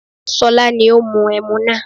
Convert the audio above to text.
Ṣọlá ní ó mu ẹmu náà